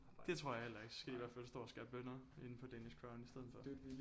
Det tror jeg heller ikke så skal de i hvert fald stå og skære bønner inde på Danish Crown i stedet for